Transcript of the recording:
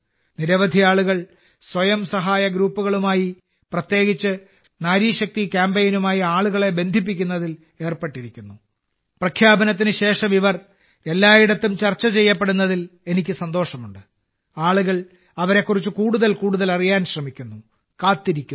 നിരവധി ആളുകൾ സ്വയം സഹായ ഗ്രൂപ്പുകളുമായി പ്രത്യേകിച്ച് നാരി ശക്തി കാമ്പെയ്നുമായി ആളുകളെ ബന്ധിപ്പിക്കുന്നതിൽ ഏർപ്പെട്ടിരിക്കുന്നു